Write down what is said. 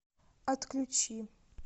отключи